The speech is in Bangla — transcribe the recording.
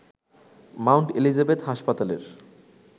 মাউন্ট এলিজাবেথ হাসপাতালের